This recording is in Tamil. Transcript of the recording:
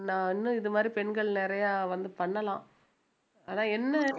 நான் இன்னும் இது மாதிரி பெண்கள் நிறையா வந்து பண்ணலாம் ஆனா என்ன